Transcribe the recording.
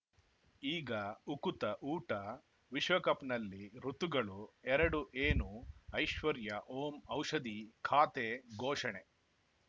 ಈಗ ಉಕುತ ಊಟ ವಿಶ್ವಕಪ್‌ನಲ್ಲಿ ಋತುಗಳು ಎರಡು ಏನು ಐಶ್ವರ್ಯಾ ಓಂ ಔಷಧಿ ಖಾತೆ ಘೋಷಣೆ